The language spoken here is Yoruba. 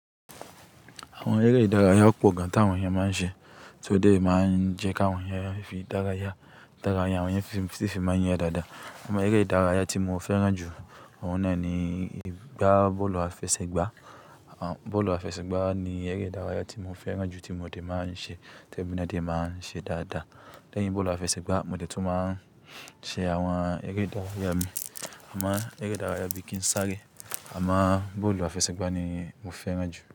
Àwọn eré ìdárayá pọ̀ gan ti áwọn èèyàn máa ń ṣe, tí ó dé máa ń jẹ́ kí àwọn èèyàn fi dárayá. Ìdárayá àwọn èèyàn sì fi máa ń yẹ dáadáa. Àmọ́ eré ìdárayá tí mo fẹ́ràn jù ọ̀un náà ni ìgbá bọ́ọ̀lù àfẹsẹ̀gbá. Bọ́ọ̀lù àfẹsẹ̀gbá ni eré ìdárayá tí mo fẹ́ràn jù tí mo dè máa ń ṣe, tí èmi náà de máa ń ṣe dáadáa. Lẹ́yìn bọ́ọ̀lù àfẹsẹ̀gbá, mo dẹ̀ tún máa ń ṣe àwọn eré ìdárayá mi. Àmọ́ eré ìdárayá bíi kín sáàre, àmọ́ bọ́ọ̀lù àfẹsẹ̀gbá ni mo fẹ́ràn jù.